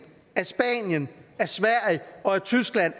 at spanien at sverige og at tyskland